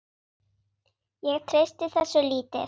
Ég treysti þessu lítið.